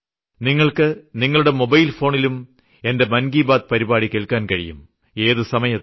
നിങ്ങൾക്ക് നിങ്ങളുടെ മൊബൈൽ ഫോണിലും എന്റെ മൻ കി ബാത് പരിപാടി കേൾക്കാൻ കഴിയും ഏതു സമയത്തും